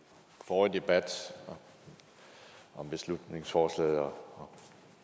forrige debat om beslutningsforslaget om